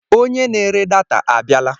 Onye na-ere data a bịala.